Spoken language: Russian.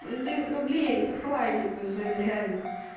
ну ты блин ну хватит уже реально